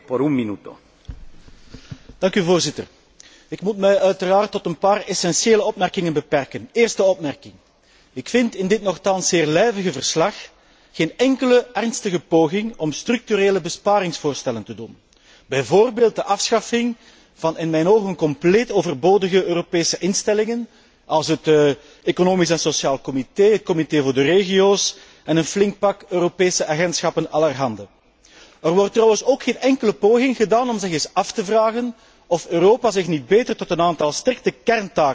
Voorzitter, ik moet mij uiteraard tot een paar essentiële opmerkingen beperken. Ten eerste vind ik in dit nochtans zeer lijvige verslag geen enkele ernstige poging om structurele besparingsvoorstellen te doen, bijvoorbeeld de afschaffing van in mijn ogen compleet overbodige Europese instellingen, als het Economisch en Sociaal Comité, het Comité van de regio's en een flink pak Europese agentschappen allerhande. Er wordt trouwens ook geen enkele poging gedaan om de vraag te stellen of Europa zich niet beter tot een aantal strikte kerntaken zou beperken, wel integendeel.